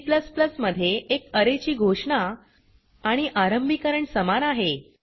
C मध्ये एक arrayची घोषणा आणि आरंभीकरण समान आहे